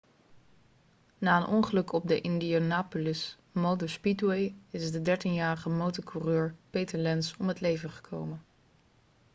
na een ongeluk op de indianapolis motor speedway is de dertienjarige motorcoureur peter lenz om het leven gekomen